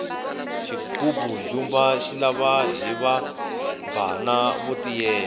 xigubu ndzumba xi lava hiva bvana vo tiyela